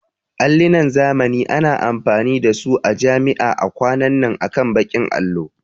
Allinan zamani ana amfani da su a jami'a a kwanan nan akan bakin allo